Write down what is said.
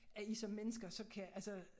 At i som mennesker så kan altså